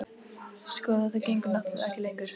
Sko. þetta gengur náttúrlega ekki lengur.